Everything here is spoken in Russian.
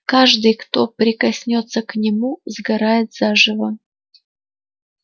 каждый кто прикоснётся к нему сгорает заживо